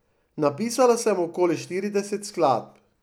Napisala sem okoli štirideset skladb.